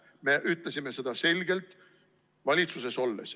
Me ütlesime seda selgelt valitsuses olles.